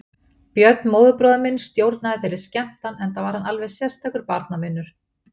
Björn, móðurbróðir minn, stjórnaði þeirri skemmtan enda var hann alveg sérstakur barnavinur.